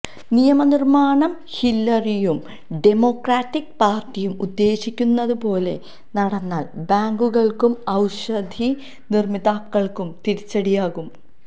നിയമനിര്മാണം ഹില്ലരിയും ഡെമോക്രാറ്റിക് പാര്ട്ടിയും ഉദ്ദേശിക്കുന്നതുപോലെ നടന്നാല് ബാങ്കുകള്ക്കും ഔഷധനിര്മാതാക്കള്ക്കും തിരിച്ചടിയാകും